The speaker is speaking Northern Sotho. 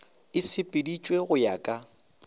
e sepeditšwe go ya ka